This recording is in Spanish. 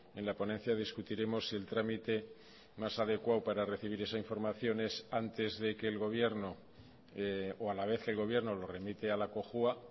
en la ponencia discutiremos si el trámite más adecuado para recibir esa información es antes de que el gobierno o a la vez el gobierno lo remite a la cojua